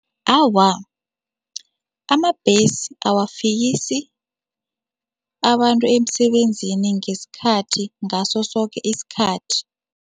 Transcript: Awa, amabhesi awafikisi abantu emsebenzini ngesikhathi ngaso soke isikhathi.